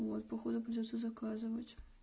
вот походу придётся заказывать